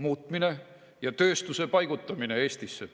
muutmine ja tööstuse paigutamine Eestisse.